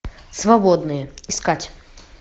свободные искать